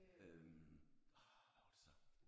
Øh åh hvad var det så?